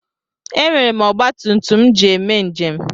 E nwere m ọgbatumtum m ji eme njem.